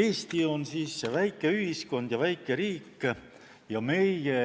Eesti on väike riik, väike ühiskond ja meie